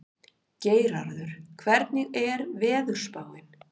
Geirarður, hvernig er veðurspáin?